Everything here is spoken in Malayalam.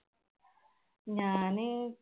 ഞാൻ